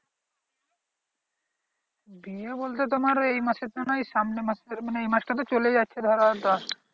বিয়ে বলতে তোমার এই মাসে তো নয় সামনের মাসের মানে এই মাস টা তো চলে যাচ্ছে ধরো আর দশ